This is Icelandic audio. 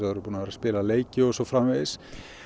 spila leiki og svo framvegis